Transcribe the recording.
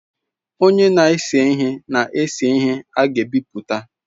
Onye na-ese ihe na-ese ihe a ga-ebipụta.